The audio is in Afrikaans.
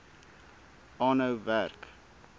aanhou werk